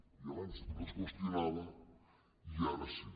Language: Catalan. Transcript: i abans no es qüestionava i ara sí